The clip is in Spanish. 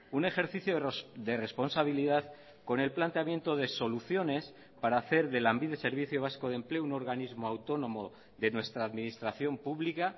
un ejercicio de responsabilidad con el planteamiento de soluciones para hacer de lanbide servicio vasco de empleo un organismo autónomo de nuestra administración pública